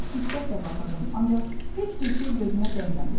Mən çox diqqətlə baxırdım, ancaq heç bir şey gözümə dəymədi.